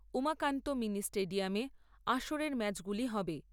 Umakanta mini স্টেডিয়ামে আসরের ম্যাচগুলো হবে।